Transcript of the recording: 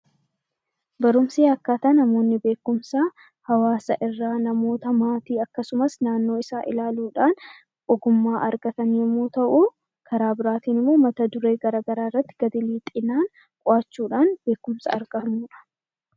Barumsi akkaataa itti namoonni beekumsa hawaasa irraa, namoota, maatii akkasumas naannoo isaa ilaaluu dhaan ogummaa argatan yommuu ta'u, karaa biraa immoo mata duree gara garaa irratti gadi lixinaan qo'achuu dhaan beekumsa argannu dha.